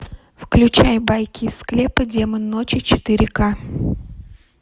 включай байки из склепа демон ночи четыре к